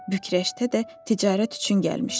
Büqrəşdə də ticarət üçün gəlmişdi.